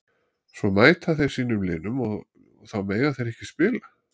Svo mæta þeir sínum liðum og þá mega þeir ekki spila?